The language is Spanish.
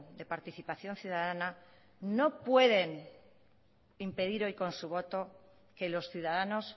de participación ciudadana no pueden impedir hoy con su voto que los ciudadanos